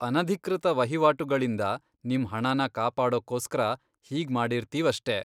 ಅನಧಿಕೃತ ವಹಿವಾಟುಗಳಿಂದ ನಿಮ್ ಹಣನ ಕಾಪಾಡೋಕ್ಕೋಸ್ಕರ ಹೀಗ್ಮಾಡಿರ್ತೀವಷ್ಟೇ.